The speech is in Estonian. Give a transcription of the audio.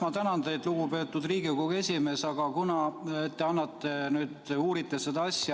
Ma tänan teid, lugupeetud Riigikogu esimees, et te nüüd uurite seda asja.